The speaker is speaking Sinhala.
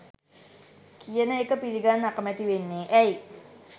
කියන එක පිළිගන්න අකමැති වෙන්නේ ඇයි